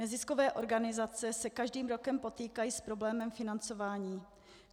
Neziskové organizace se každým rokem potýkají s problémem financování.